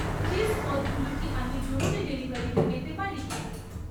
Cheese পদগুলো কি আমি জরুরি ডেলিভারিতে পেতে পারি?